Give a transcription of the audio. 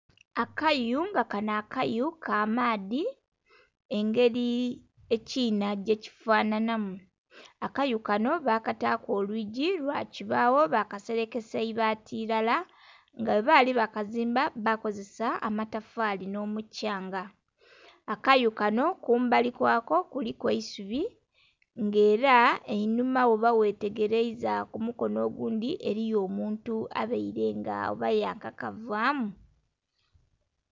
Akayu nga kanho akayu ka maadhi engeri ekiinha gye kifanhana mu, akayu kanho bakataku olwigi lwa kibagho bakiserekesa ibati ilala nga bwe bali bakizimba bakozesa amatafali nho mukyanga. Akayu kanho kumbali kwa ko kuliku eisubi nga era einhuma bwoba ghe tegereiza ku mukonho ogundhi eriyo omuntu embeire nga oba ya kakavamu.